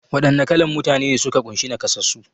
Wa ɗanna kalan Mutane ne suka kunshi naƙasassu?